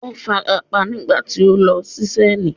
Ó farapa nígbà tí ó ń lo ṣísẹ́ẹ̀lì.